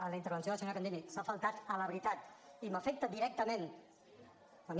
a la intervenció de la senyora candini s’ha faltat a la veritat i m’afecta directament a mi